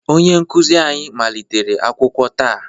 Onye nkuzi anyị malitere akwụkwọ taa